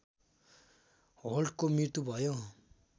होल्टको मृत्यु भयो